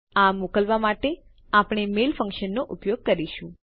આ મોકલવા માટે આપણે મેલ ફંક્શનનો ઉપયોગ કરીશું